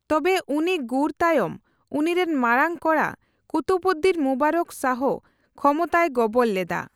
ᱛᱚᱵᱮ, ᱩᱱᱤ ᱜᱩᱨ ᱛᱟᱭᱚᱢ ᱩᱱᱤᱨᱮᱱ ᱢᱟᱨᱟᱝ ᱠᱚᱲᱟ ᱠᱩᱛᱩᱵᱽᱩᱫᱫᱤᱱ ᱢᱩᱵᱟᱨᱚᱠ ᱥᱟᱦᱚ ᱠᱷᱚᱢᱚᱛᱟᱭ ᱜᱚᱵᱚᱞ ᱞᱮᱫᱟ ᱾